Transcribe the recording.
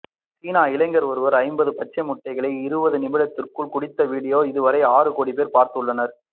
சீனா இளைஞர் ஒருவர் ஐம்பது பச்சை முட்டைகளை இருபது நிமிடத்திற்குள் குடித்த வீடியோவை இதுவரை ஆறு கோடி பேர் பார்த்துள்ளனர்